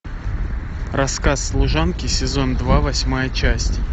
рассказ служанки сезон два восьмая часть